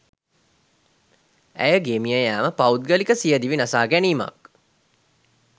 ඇයගේ මියයෑම පෞද්ගලික සියදිවි නසා ගැනීමක්